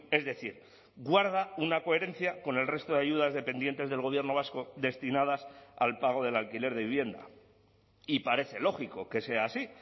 es decir guarda una coherencia con el resto de ayudas dependientes del gobierno vasco destinadas al pago del alquiler de vivienda y parece lógico que sea así